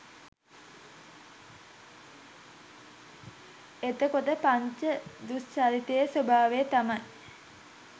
එතකොට පංච දුෂ්චරිතයේ ස්වභාවය තමයි